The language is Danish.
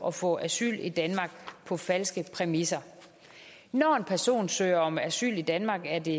at få asyl i danmark på falske præmisser når en person søger om asyl i danmark er det